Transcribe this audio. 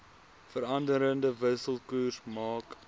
veranderende wisselkoers maak